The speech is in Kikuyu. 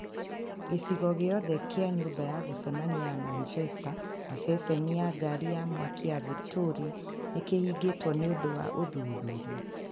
Gĩcigo gĩothe kĩa nyũmba ya gũcemania ya Manchester na ceceni ya ngaari ya mwaki ya Victoria nĩ kĩhingĩtwo nĩ ũndũ wa ũthuthuria.